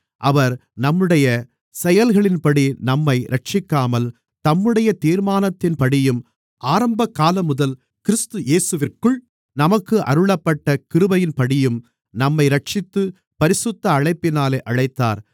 அவர் நம்முடைய செயல்களின்படி நம்மை இரட்சிக்காமல் தம்முடைய தீர்மானத்தின்படியும் ஆரம்பகாலமுதல் கிறிஸ்து இயேசுவிற்குள் நமக்கு அருளப்பட்ட கிருபையின்படியும் நம்மை இரட்சித்து பரிசுத்த அழைப்பினாலே அழைத்தார்